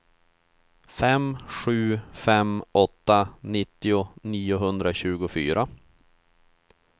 fem sju fem åtta nittio niohundratjugofyra